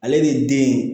Ale ni den